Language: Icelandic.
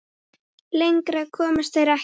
Lengra komust þeir ekki.